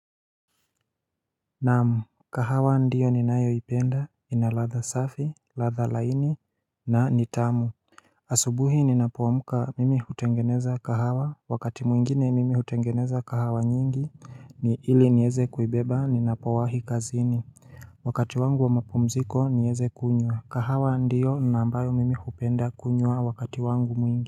Naam kahawa ndiyo ni nayo ipenda ina ladha safi ladha laini na nitamu asubuhi ninapoamka mimi hutengeneza kahawa wakati mwingine mimi hutengeneza kahawa nyingi ni ili niweze kuibeba ninapowahi kazini Wakati wangu wa mapumziko nieze kunywa kahawa ndiyo na ambayo mimi hupenda kunywa wakati wangu mwingine.